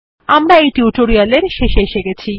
আমরা এই টিউটোরিয়ালের শেষে এসে গেছি